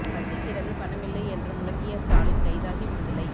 பசிக்கிறது பணமில்லை என்று முழங்கிய ஸ்டாலின் கைதாகி விடுதலை